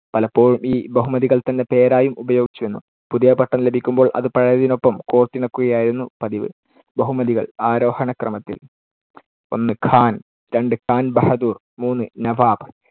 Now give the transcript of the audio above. പലപ്പോഴും ഈ ബഹുമതികൾ തന്നെ പേരായും ഉപയോഗിച്ചു വന്നു. പുതിയ പട്ടം ലഭിക്കുമ്പോൾ അത് പഴയതിനൊപ്പം കോർത്തിണക്കുകയായിരുന്നു പതിവ്. ബഹുമതികൾ അരോഹണക്രമത്തിൽ. ഒന്ന് ഖാൻ. രണ്ട് ഖാൻ ബഹദൂർ. മൂന്ന് നവാബ്.